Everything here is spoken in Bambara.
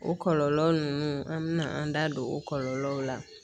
O kɔlɔlɔ ninnu an bɛna an da don o kɔlɔlɔw la